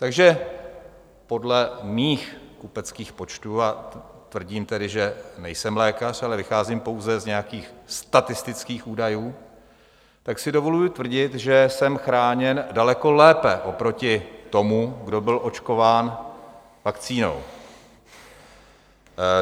Takže podle mých kupeckých počtů, a tvrdím tedy, že nejsem lékař, ale vycházím pouze z nějakých statistických údajů, tak si dovoluji tvrdit, že jsem chráněn daleko lépe oproti tomu, kdo byl očkován vakcínou.